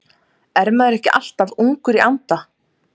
Er maður ekki alltaf ungur í anda?